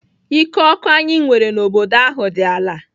Ike ọkụ anyị nwere n'obodo ahụ dị ala.